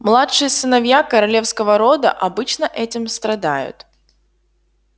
младшие сыновья королевского рода обычно этим страдают